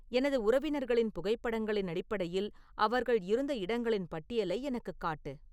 எனது உறவினர்களின் புகைப்படங்களின் அடிப்படையில் அவர்கள் இருந்த இடங்களின் பட்டியலை எனக்குக் காட்டு